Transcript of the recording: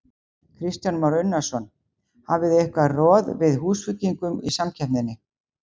Kristján Már Unnarsson: Hafið þið eitthvað roð við Húsvíkingum í samkeppninni?